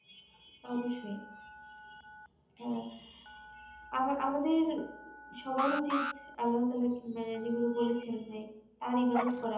অবশ্যই হ্যাঁ আবার আমদের সবার উচিত আল্লাহতালা মানে যেগুলো বলেছেন যে তার ইবাদত করা